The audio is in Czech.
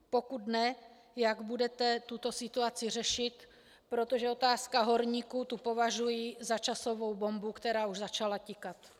Pokud ne, jak budete tuto situaci řešit, protože otázka horníků, tu považuji za časovanou bombu, která už začala tikat.